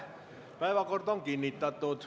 Päevakord on kinnitatud.